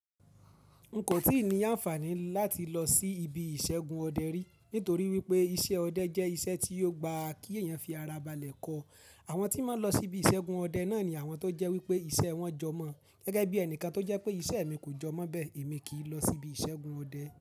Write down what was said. N kò tíì ní àǹfààní láti lọ sí ibi ìṣẹ́gun ọdẹ rí, nítorí wípé iṣẹ́ ọdẹ jẹ́ iṣẹ́ tí ò gba kí èèyàn fi ara balẹ̀ kọ. Àwọn tí máa ń lọ sí ibi ìṣẹ́gun ọdẹ náà ni àwọn tó jẹ́ wípé ìṣe wọn jọ mọ́. Gẹ́gẹ́ bí ẹnìkan tó jẹ́ pé iṣẹ́ mi kò jọ mọ́ bẹ́ẹ̀, èmi kì í lọ sí ibi ìṣẹ́gun ọdẹ.